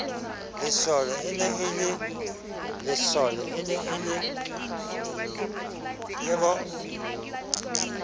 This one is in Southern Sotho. lesole e ne e le